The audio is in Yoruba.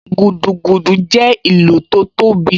Gúdúgúdú jẹ́ ìlù tó tóbi